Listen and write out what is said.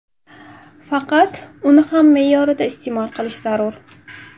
Faqat uni ham me’yorida iste’mol qilish zarur.